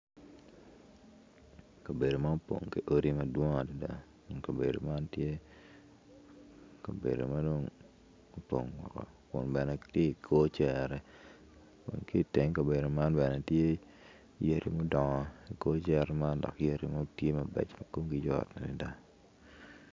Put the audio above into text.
Kabedo ma opong ki odi madwong adada dok kabedo man tye kabedo ma dong opongo oko kun bene tye i kor cere kun ki iteng kabedo man tye yadi mudongo i kor cere man dok yadi man tye mabeco ma komgi yot adada.